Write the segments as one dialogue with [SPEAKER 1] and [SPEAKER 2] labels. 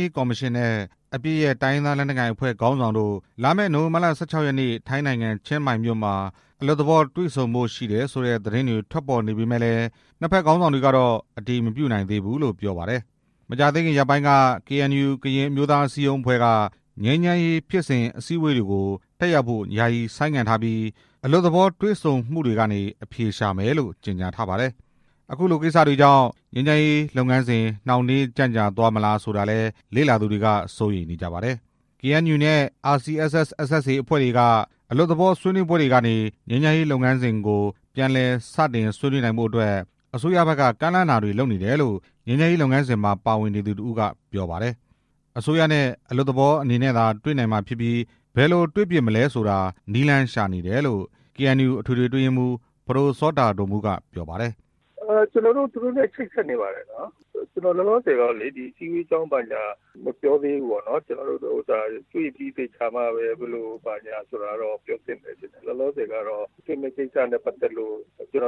[SPEAKER 1] ရေးကော်မရှင်နဲ့ အပစ်ရပ် တိုင်းရင်းသားလက်နက်ကိုင်အဖွဲ့ ခေါင်းဆောင်တို့ လာမယ့် နိုဝင်ဘာလ ၁၆ ရက်နေ့ ထိုင်းနိုင်ငံ ချင်းမိုင်မြို့မှာ အလွတ်သဘောတွေ့ဆုံဖို့ရှိတယ် ဆိုတဲ့သတင်းတွေ ထွက်ပေါ်နေပေ မယ့်လည်း နှစ်ဖက်ခေါင်းဆောင်တွေကတော့ အတည်မပြုနိုင်သေးဘူးလို့ ပြောပါတယ်။ မကြာသေးခင်ရက်ပိုင်းက KNU ကရင်အမျိုးသားအစည်းအရုံးအဖွဲ့က ငြိမ်းချမ်းရေးဖြစ်စဉ်အစည်း အဝေးပွဲတွေကို တက်ရောက်ဖို့ယာယီဆိုင်းငံ့ထားပြီး အလွတ်သဘောတွေ့ဆုံမှုတွေကနေ အဖြေရှာမယ်လို့ ကြေညာထားပါတယ်။ အခုလိုကိစ္စတွေကြောင့် ငြိမ်းချမ်းရေးလုပ်ငန်းစဉ် နှောင့်နှေးကြန့်ကြာသွားမလားဆိုတာကိုလည်း လေ့လာသူတွေက စိုးရိမ်နေကြပါတယ်။ KNU နဲ့ RCSS/SSA အဖွဲ့တွေက အလွတ်သဘောဆွေးနွေးပွဲတွေကနေ ငြိမ်းချမ်းရေးလုပ်ငန်းစဉ်ကို ပြန်လည် စတင်ဆွေးနွေးနိုင်ဖို့အတွက် အစိုးရဖက်က ကမ်းလှမ်းတာတွေလုပ်နေတယ်လို့ ငြိမ်းချမ်းရေး လုပ်ငန်းစဉ်မှာ ပါဝင်နေသူတစ်ဦးက ပြောပါတယ်။ အစိုးရနဲ့ အလွတ်သဘောအနေနဲ့သာ တွေ့နိုင်မှာဖြစ်ပြီး ဘယ်လိုတွေ့ဖြစ်မလဲဆိုတာ နည်းလမ်းရှာနေတယ်လို့ KNU အထွေထွေအတွင်းရေးမှူး ပဒိုစောတာဒိုမူးက ပြောပါတယ်။
[SPEAKER 2] "ကျနော်တို့ သူတို့နဲ့ချိတ်ဆက်နေပါတယ်။ လောလောဆယ်တော့လေ ဒီအစည်းအဝေးအကြောင်း ဘာညာ မပြောသေးဘူး။ တေ့ွပြီးသေချာမှပဲ ဘယ်လိုဘာညာက ပြောဖြစ်မယ်ထင်တယ်။ လောလောဆယ်ကတော့ တေ့ွမယ့်ကိစ္စနဲ့ပတ်သက်လို့ အဆင်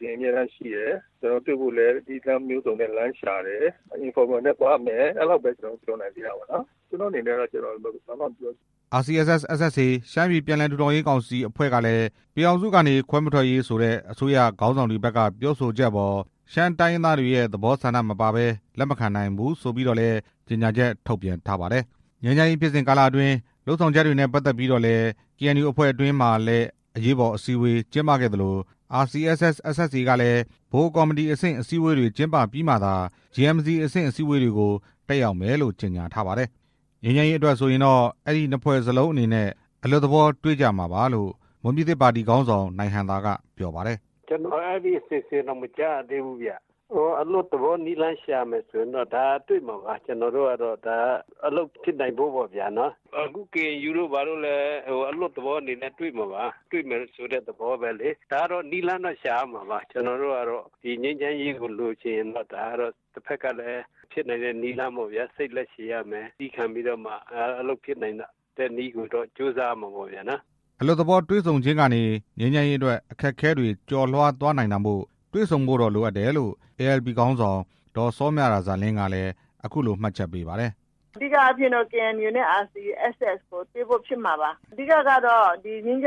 [SPEAKER 2] သင့်အမြဲတမ်းရှိတယ်။ တေ့ွဖို့လည်း နည်းလမ်းမျိုးစုံနဲ့ လမ်းရှာတယ်။ အလွတ်သဘောနဲ့သွားမယ်။ အဲဒီလောက်ပဲ ကျနော်တို့ ပြောနိုင်သေးတာပေါ့နော်။ ကျနော့်အနေနဲ့တော့ ဘာမှမပြောချင်ဘူး
[SPEAKER 1] " RCSS/SSA ရှမ်းပြည်ပြန်လည်ထူထောင်ရေးကောင်စီအဖွဲ့ကလည်း ပြည်ထောင်စုကနေ ခွဲမထွက်ရေး ဆိုတဲ့ အစိုးရခေါင်းဆောင်တွေဖက်က ပြောဆိုချက်အပေါ် ရှမ်းတိုင်းရင်းသားတွေရဲ့ သဘောဆန္ဒ မပါဘဲ လက်မခံနိုင် ဘူးဆိုပြီးတော့လည်း ကြေညာချက်ထုတ်ပြန်ပါတယ်။ ငြိမ်းချမ်းရေးဖြစ်စဉ်ကာလအတွင်း လုပ်ဆောင်ချက်တွေနဲ့ပတ်သက်ပြီးတော့လည်း KNU အဖွဲ့အတွင်းမှာလည်း အရေးပေါ်အစည်းအဝေး ကျင်းပခဲ့သလို RCSS/SSA ကလည်း ဗဟိုကော်မတီအဆင့် အစည်းအဝေးတွေ ကျင်းပပြီးမှသာ JMC အဆင့်အစည်းအဝေးတွေကို တက်ရောက်မယ်လို့ ကြေညာ ထားပါတယ်။ ငြိမ်းချမ်းရေးအတွက်ဆိုရင်တော့ အဲဒီနှစ်ဖွဲ့စလုံးအနေနဲ့ အလွတ်သဘောတွေ့ကြမှာပါလို့ မွန်ပြည်သစ် ပါတီခေါင်းဆောင် နိုင်ဟံသာက ပြောပါတယ်
[SPEAKER 3] ။ "ကျနော် အဲဒီအစီအစဉ်တောင် မကြားရသေးဘူး။ အလွတ်သဘော နည်းလမ်းရှာမယ်ဆို တေ့ွမှာပါ။ အလုပ်ဖြစ်နိုင်ဖို့ပေါ့ဗျာ။ အခု KNU တို့ဘာတို့လည်း အလွတ်သဘောအနေနဲ့ တေ့ွမှာပါ။ ဒါကနည်းလမ်းတော့ ရှာရမှာပါ။ ကျနော်တို့ကတော့ ငြိမ်းချမ်းရေးကို လိုချင်ရင်တော့ တဖက်ကလည်း ဖြစ်နိုင်တဲ့နည်းလမ်းပေါ့ဗျာ။ စိတ်လည်းရှည်ရမယ်။ သည်းခံပြီးတော့မှ အလုပ်ဖြစ်နိုင်တဲ့နည်းကို ကြိုးစားရမှာပေ့ါဗျာ"
[SPEAKER 1] အလွတ်သဘောတွေ့ဆုံခြင်းကနေ ငြိမ်းချမ်းရေးအတွက် အခက်အခဲတွေကျော်လွှားသွားနိုင်တာမို့ တွေ့ဆုံဖို့တော့ လိုအပ်တယ်လို့ ALP ခေါင်းဆောင် ဒေါ်စောမြရာဇာလင်းကလည်း အခုလို မှတ်ချက်ပေးပါတယ်။
[SPEAKER 4] "အဓိကအားဖြင့် KNU နဲ့ RCSS တေ့ွဖို့ ဖြစ်မှာပါ။ ဒီငြိမ်းချ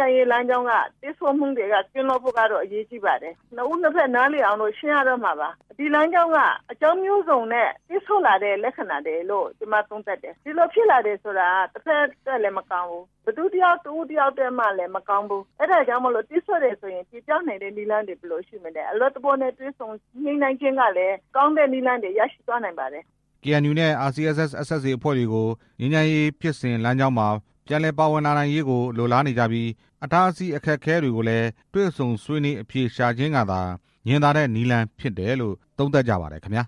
[SPEAKER 4] မ်းရေးလမ်းကြောင်းမှာ ပိတ်ဆို့မှုတွေကနေ ကင်းလွတ်ဖို့ အရေးကြီးပါတယ်။ နှစ်ဦးနှစ်ဖက် နားလည်အောင် ရှင်းရတော့မှာပါ။ ဒီလမ်းကြောင်းက အကြောင်းမျိုးစုံနဲ့ ပိတ်ဆို့လာတဲ့ လက္ခဏာတွေလို့ ကျမ သုံးသပ်တယ်။ ဒီလိုဖြစ်လာတယ်ဆိုတာ ဘယ်သူတစ်ဦးတစ်ယောက်အတွက်မှ မကောင်းဘူး။ အဲဒါကြောင့်ပိတ်ဆို့တယ်ဆိုရင် ချေဖျက်နိုင်တဲ့ နည်းလမ်းတွေ ဘယ်လိုရှိမလဲ။ အလွတ်သဘောနဲ့ တေ့ွဆုံညှိနှိုင်းခြင်းကလည်း ကောင်းတဲ့နည်းလမ်းတွေ ရရှိသွားနိုင်ပါတယ်"
[SPEAKER 1] KNU နဲ့ RCSS/SSA အဖွဲ့တွေကို ငြိမ်းချမ်းရေးဖြစ်စဉ်လမ်းကြောင်းမှာ ပြန်လည်ပါဝင်လာနိုင်ရေးကို လိုလားနေကြပြီး အတားအဆီးအခက်အခဲတွေကိုလည်း တွေ့ဆုံဆွေးနွေးအဖြေရှာခြင်းကသာ ညင်သာတဲ့နည်းလမ်းဖြစ်တယ်လို့ သုံးသပ်ကြပါတယ်ခင်ဗျာ